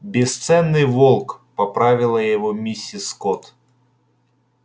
бесценный волк поправила его миссис скотт